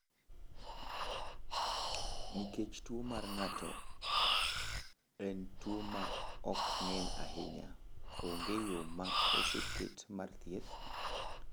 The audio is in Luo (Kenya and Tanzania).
Nikech tuwo mar ng’ato en tuwo ma ok ng’eny ahinya, onge yo ma oseket mar thieth.